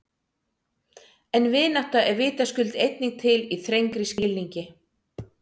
En vinátta er vitaskuld einnig til í þrengri skilningi.